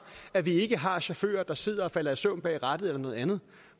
at vi ikke har chauffører der sidder og falder i søvn bag rattet eller noget andet